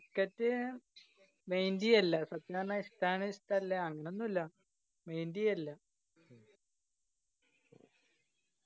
cricket ഏർ mind എയ്യലില്ല ഇഷ്ടാണ് ഇഷ്ടല്ല അങ്ങനൊന്നില്ല mind ഇയ്യാലില്ല.